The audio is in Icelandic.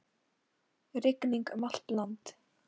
Rigning um allt land